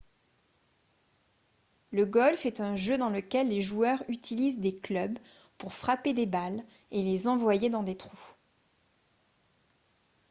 le golf est un jeu dans lequel les joueurs utilisent des clubs pour frapper des balles et les envoyer dans des trous